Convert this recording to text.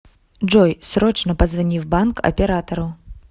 джой срочно позвони в банк оператору